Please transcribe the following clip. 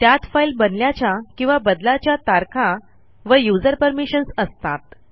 त्यात फाईल बनल्याच्या किंवा बदलाच्या तारखा व यूझर परमिशन्स असतात